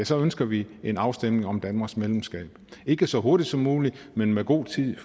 så ønsker vi en afstemning om danmarks medlemskab ikke så hurtigt som muligt men med god tid